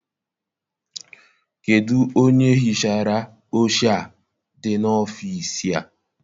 Kedụ onye hichara oche a dị n'ọfịịsi a?